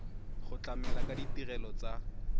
go tlamela ka ditirelo tsa